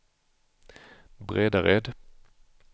Bredared